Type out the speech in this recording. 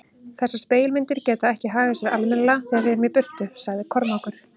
Þessar spegilmyndir geta ekki hagað sér almennilega þegar við erum í burtu, sagði Kormákur.